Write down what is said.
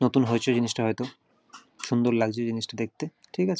নতুন হয়েছে জিনিসটা হয়তো। সুন্দর লাগছে জিনিস টা দেখতে ঠিক আছে।